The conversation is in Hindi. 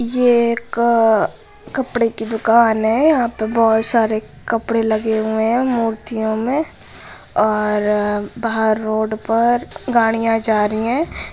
ये एक-क कपड़े की दुकान है यहाँ पे बहुत सारे कपड़े लगे हुए है मूर्तियों मे और बाहर रोड पर गाड़ियां जा रही है।